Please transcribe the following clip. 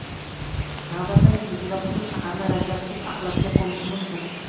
Navbatdagi zilzila butun shaharni radioaktiv axlatga ko‘mishi mumkin.